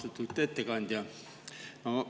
Austatud ettekandja!